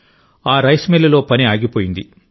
ఆ రైస్ మిల్లులో పని ఆగిపోయింది